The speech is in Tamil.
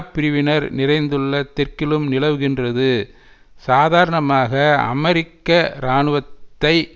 பிரிவினர் நிறைந்துள்ள தெற்கிலும் நிலவுகின்றது சாதாரணமாக அமெரிக்க இராணுவத்தை